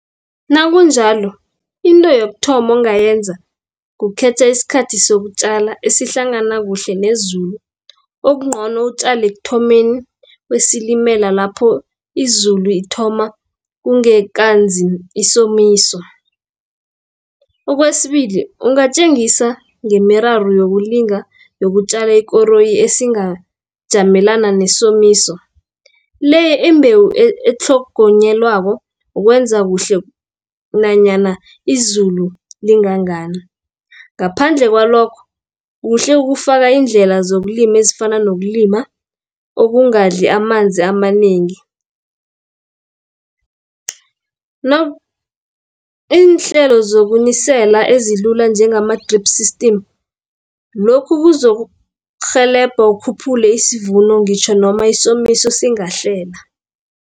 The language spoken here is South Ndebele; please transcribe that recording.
Nakunjalo into yokuthoma ongayenza, kukhetha isikhathi sokutjala esihlangana kuhle nezulu. Okungcono utjale ekuthomeni kweSilimela lapho izulu ithoma kungekanzi isomiso. Okwesibili ungatjengisa ngemiraro yokulinga nokutjala ikoroyi esingajamelana nesomiso, le imbewu etlhogonyelwako ukwenza kuhle nanyana izulu lingangani. Ngaphandle kwalokho, kuhle ukufaka iindlela zokulima ezifana nokulima, okungadli amanzi amanengi, iinhlelo zokunisela ezilula njengama-Drip System, lokhu kuzokurhelebha ukhuphule isivuno ngitjho nomi isomiso singahlela